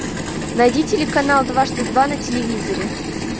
найди телеканал дважды два на телевизоре